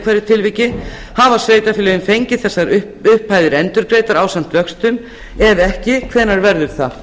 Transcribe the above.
hverju tilviki hafa sveitarfélögin fengið þessar upphæðir endurgreiddar ásamt vöxtum ef ekki hvenær verður það